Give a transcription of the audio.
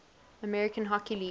american hockey league